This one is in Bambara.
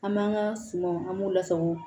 An b'an ka sumanw an b'u lasago